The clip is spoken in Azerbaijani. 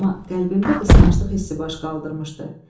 amma qəlbimdə qısqanclıq hissi baş qaldırmışdı.